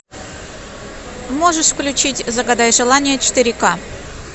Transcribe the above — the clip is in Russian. можешь включить загадай желание четыре ка